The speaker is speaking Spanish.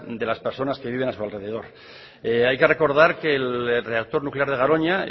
de las personas que viven a su alrededor hay que recordar que el reactor nuclear de garoña